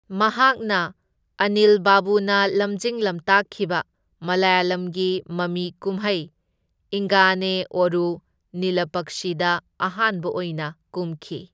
ꯃꯍꯥꯛꯅ ꯑꯅꯤꯜ ꯕꯥꯕꯨꯅ ꯂꯝꯖꯤꯡ ꯂꯝꯇꯥꯛꯈꯤꯕ ꯃꯂꯌꯥꯂꯝꯒꯤ ꯃꯃꯤ ꯀꯨꯝꯍꯩ ꯏꯪꯒꯥꯅꯦ ꯑꯣꯔꯨ ꯅꯤꯂꯄꯛꯁꯤ ꯗ ꯑꯍꯥꯟꯕ ꯑꯣꯏꯅ ꯀꯨꯝꯈꯤ꯫